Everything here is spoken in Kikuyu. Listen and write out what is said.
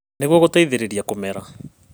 Nĩguo gũteithĩrĩria kũmera